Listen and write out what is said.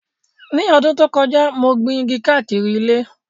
Ní ọdún tó kọjá, mo gbin igi káàkiri ilé